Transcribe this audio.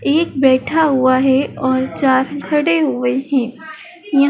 एक बैठा हुआ है और चार खड़े हुए हैं यां--